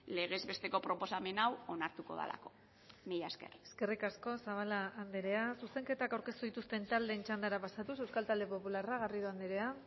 legez besteko proposamen hau onartuko delako mila esker eskerrik asko zabala andrea zuzenketak aurkeztu dituzten taldeen txandara pasatuz euskal talde popularra garrido andrea